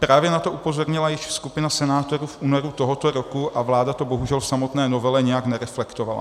Právě na to upozornila již skupina senátorů v únoru tohoto roku a vláda to bohužel v samotné novele nijak nereflektovala.